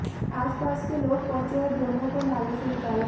आसपास के लोग पहुंचे और दोनों को नाले से निकाला